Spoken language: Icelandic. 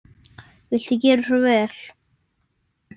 Viltu gera svo vel.